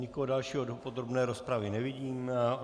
Nikoho dalšího do podrobné rozpravy nevidím.